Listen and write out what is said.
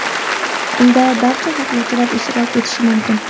Unda barcha xohlovchilar ishtirok etishi mumkin.